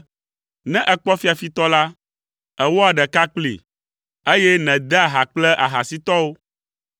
Ne èkpɔ fiafitɔ la, èwɔa ɖeka kplii, eye nèdea ha kple ahasitɔwo.